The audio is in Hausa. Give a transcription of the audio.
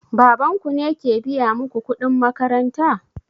Baban ku ke biya muku kuɗin makaranta?